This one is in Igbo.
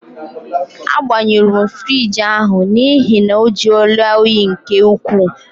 Agbanyuru m fruidge ahụ n'ihi na ọ juola óyi nke ukwuu.